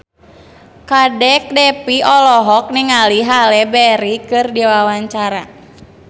Kadek Devi olohok ningali Halle Berry keur diwawancara